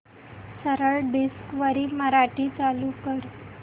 सरळ डिस्कवरी मराठी चालू कर